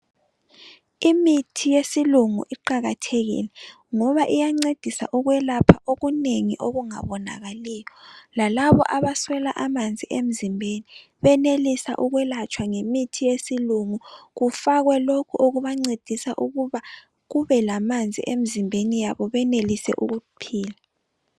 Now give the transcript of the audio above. Imithi yesilungu iqakathekile ngoba iyancedisa ukwelapha okunengi okungabonakaliyo. Lalabo abaswela amanzi emzimbeni benelisa ukwelatshwa ngemithi yesilungu. Kufakwe lokhu okubancedisa ukuba kube lamanzi emzimbeni yabo benelise ukuphila.